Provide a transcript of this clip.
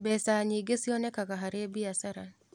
Mbeca nyingĩ cionekanaga harĩ biashara.